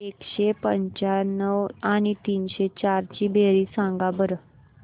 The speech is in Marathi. एकशे पंच्याण्णव आणि तीनशे चार ची बेरीज सांगा बरं